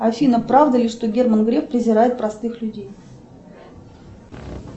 афина правда ли что герман греф презирает простых людей